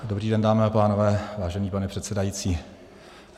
Dobrý den, dámy a pánové, vážený pane předsedající.